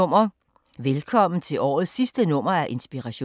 Velkommen til årets sidste nummer af Inspiration.